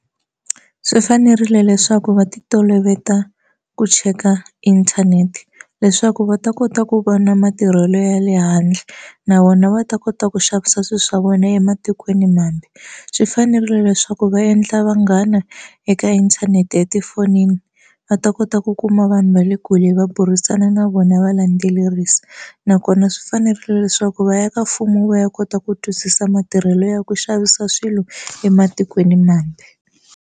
Swi fanerile leswaku va ti toloveta ku cheka inthanete leswaku va ta kota ku va na matirhelo ya le handle na vona va ta kota ku xavisa swilo swa vona ematikweni mambe swi fanerile leswaku va endla vanghana eka inthanete etifonini va ta kota ku kuma vanhu va le kule va burisana na vona va landzelerisa nakona swi fanerile leswaku va ya ka mfumo va ya kota ku twisisa matirhelo ya ku xavisa swilo ematikweni mambe.